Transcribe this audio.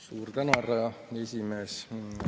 Suur tänu, härra esimees!